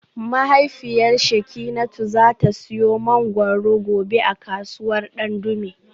Mahaifiyar Shekinatu za ta siyo mangwaro gobe a kasuwar Dandume